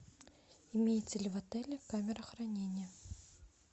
имеется ли в отеле камера хранения